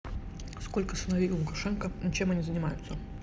сколько сыновей у лукашенко и чем они занимаются